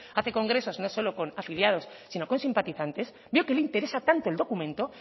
hace congresos no solo con afiliados sino con simpatizantes veo que le interesa tanto el documento